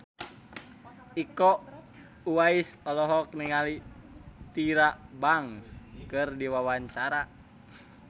Iko Uwais olohok ningali Tyra Banks keur diwawancara